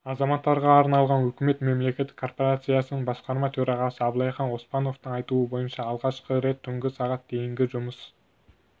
азаматтарға арналған үкімет мемлекеттік корпорациясының басқарма төрағасы абылайхан оспановтың айтуынша алғашқы рет түнгі сағат дейінгі жұмыс